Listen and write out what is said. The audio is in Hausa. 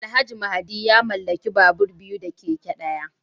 Alhaji Mahdi ya mallaki babur biyu da keke daya